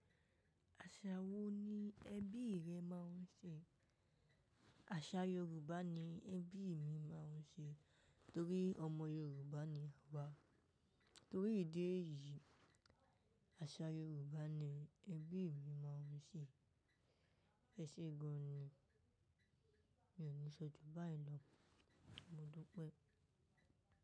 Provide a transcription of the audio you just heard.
Àṣà wo ni ẹbí rẹ máa ń ṣe? Àṣà Yoruba ni ẹbí mi máa ń ṣe torí ọmọ Yoruba ni a wà. Torí ìdí èyí, àṣà Yoruba ni ẹbí mi máa ń ṣe. Ẹ ṣe gan ni, mi ò ní sọju báyìí lọ. Mo dúpẹ́.